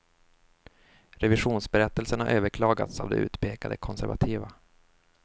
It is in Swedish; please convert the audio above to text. Revisionsberättelsen har överklagats av de utpekade konservativa.